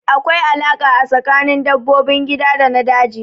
Akwai alaƙa a tsakanin dabbobin gida da na daji